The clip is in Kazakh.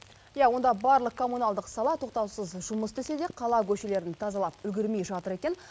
иә онда барлық коммуналдық сала тоқтаусыз жұмыс істесе де қала көшелерін тазалап үлгермей жатыр екен